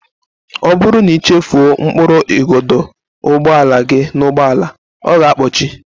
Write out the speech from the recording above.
Ọ bụrụ na ị chefuo mkpụrụ igodo ụgbọala gị n'ụgbọala, ọ ga-akpọchi